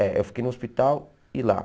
É, eu fiquei no hospital e lá.